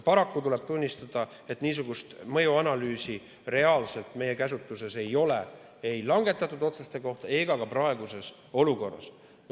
Paraku tuleb tunnistada, et niisugust mõjuanalüüsi reaalselt meie käsutuses ei ole ei langetatud otsuste kohta ega ka praeguse olukorra kohta.